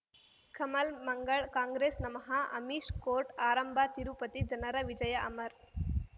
ಕಮಲ್ ಮಂಗಳ್ ಕಾಂಗ್ರೆಸ್ ನಮಃ ಅಮಿಷ್ ಕೋರ್ಟ್ ಆರಂಭ ತಿರುಪತಿ ಜನರ ವಿಜಯ ಅಮರ್